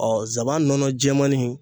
zaban nɔnɔ jɛɛmani